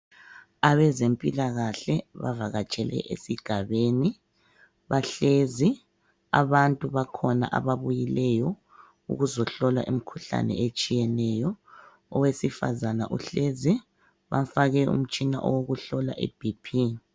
Abezempilakahle bavakatshele esigabeni. Bahlezi abantu bakhona ababuyileyo ukuzohlola imikhuhlane etshiyeneyo, owesifazana uhlezi bamfake utshina owokuhlola i BP.